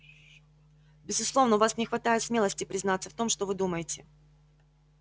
безусловно у вас не хватает смелости признаться в том что вы думаете